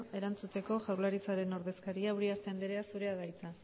erantzuteko jaurlaritzaren ordezkaria uriarte andrea zurea da hitza